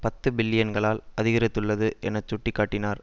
பத்து பில்லியன்களால் அதிகரித்துள்ளது என சுட்டி காட்டினார்